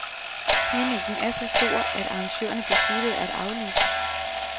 Snemængden er så stor, at arrangørerne besluttede at aflyse.